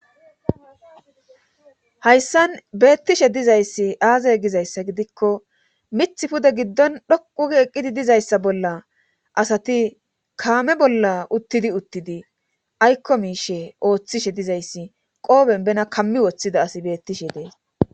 hayssan beettishe dizayssi aazay gizayssa gidikko mith pude giddon dhoqugi eqqidi dizayssa bolla asati kaame bolla uttidi uttidi aykko miishe ooththishe dizayssi qooben bena kammi woththida asi beettishe dees